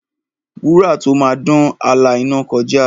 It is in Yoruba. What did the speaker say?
Wúrà tó máa dán, á la iná kọjá.